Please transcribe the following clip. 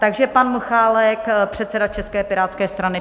Takže pan Michálek, předseda České pirátské strany.